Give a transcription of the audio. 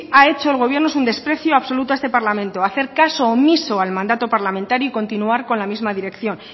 ha hecho el gobierno es un desprecio absoluto a este parlamento hacer caso omiso al mandato parlamentario y continuar con la misma dirección